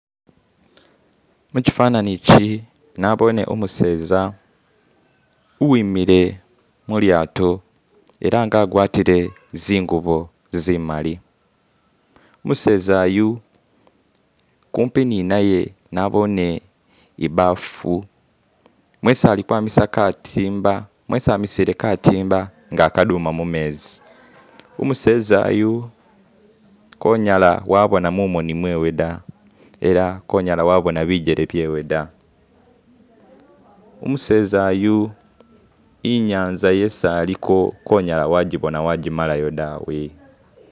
mukifanani ikyi nabone umuseza uwimile mulyato ela nga agwatile zingobo zimali umuseza yu kupi ninaye nabone ibaafu mwesi ali kwamisa katimba nga akaduma mumezi umuseza yu konyala wabona mumoni mwewe da ela konyala wabona bijele byewe da umuseza yu inyanza yesi aliko konyala wajibona wajimalayo dawe